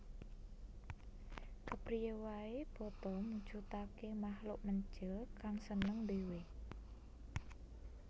Kepriyé waé boto mujudaké makhluk mencil kang seneng ndhéwé